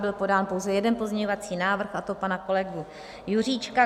Byl podán pouze jeden pozměňovací návrh, a to pana kolegy Juříčka.